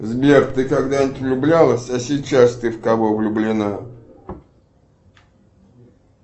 сбер ты когда нибудь влюблялась а сейчас ты в кого влюблена